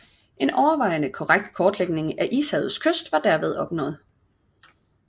En overvejende korrekt kortlægning af ishavets kyst var derved opnået